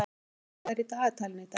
Jana, hvað er í dagatalinu í dag?